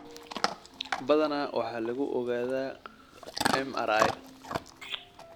Badanaa waxaa lagu ogaadaa MRI.